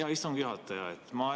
Hea istungi juhataja!